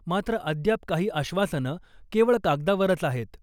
मात्र अद्याप काही आश्वासनं केवळ कागदावरच आहेत .